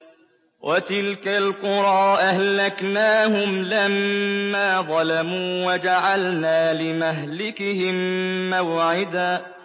وَتِلْكَ الْقُرَىٰ أَهْلَكْنَاهُمْ لَمَّا ظَلَمُوا وَجَعَلْنَا لِمَهْلِكِهِم مَّوْعِدًا